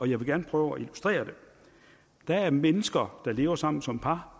jeg vil gerne prøve at illustrere det der er mennesker der lever sammen som par